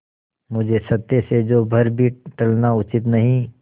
मुझे सत्य से जौ भर भी टलना उचित नहीं